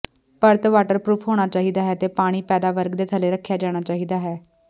ਪਰਤ ਵਾਟਰਪ੍ਰੂਫ਼ ਹੋਣਾ ਚਾਹੀਦਾ ਹੈ ਅਤੇ ਪਾਣੀ ਪੈਦਾ ਵਰਗ ਦੇ ਥੱਲੇ ਰੱਖਿਆ ਜਾਣਾ ਚਾਹੀਦਾ ਹੈ